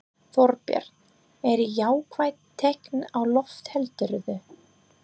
Þorbjörn: Eru jákvæð teikn á lofti heldurðu?